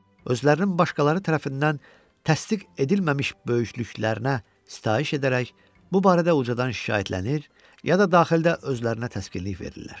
Özlərinin başqaları tərəfindən təsdiq edilməmiş böyüklüklərinə sitayiş edərək, bu barədə ucadan şikayətlənir, ya da daxildə özlərinə təsknlik verirlər.